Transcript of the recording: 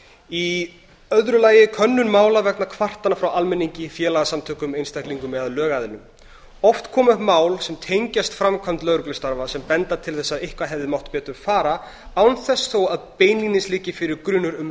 í öðru lagi könnun mála vegna kvartana sem koma frá almenningi félagasamtökum einstaklingum eða lögaðilum oft koma upp mál sem tengjast framkvæmd lögreglustarfa sem benda til þess að eitthvað hefði mátt betur fara án þess þó að beinlínis liggi fyrir grunur um að